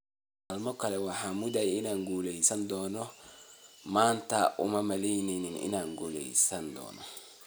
Maalin kale waxaan moodayay inaan guulaysan doono- maanta uma malaynayn inaan guulaysan doono''.